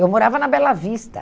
Eu morava na Bela Vista.